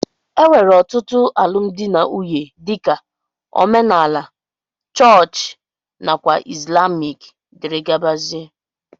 enwere otụtu alụmdi na nwunye dika: omenala, chọọch nakwa islamic. dgz